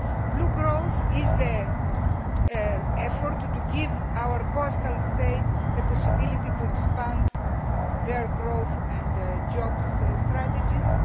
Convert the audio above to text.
Blue growth is the effort to give our coastal states the possibility to expand their growth and jobs strategies.